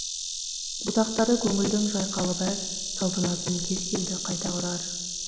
бұтақтары көнілдің жайқалып әр салтанатын кез келді қайта құрар